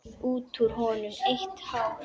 Út úr honum eitt hár.